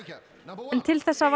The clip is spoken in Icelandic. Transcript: en til þess að